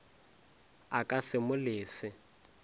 a ka se mo lese